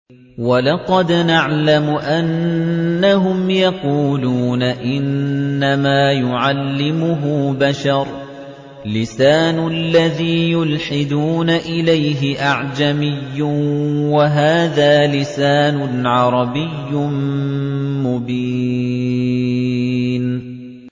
وَلَقَدْ نَعْلَمُ أَنَّهُمْ يَقُولُونَ إِنَّمَا يُعَلِّمُهُ بَشَرٌ ۗ لِّسَانُ الَّذِي يُلْحِدُونَ إِلَيْهِ أَعْجَمِيٌّ وَهَٰذَا لِسَانٌ عَرَبِيٌّ مُّبِينٌ